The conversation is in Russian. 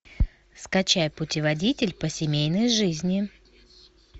скачай путеводитель по семейной жизни